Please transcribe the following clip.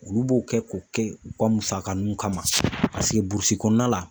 Olu b'o kɛ k'o kɛ u ka musaka nun kama paseke burusi kɔnɔna la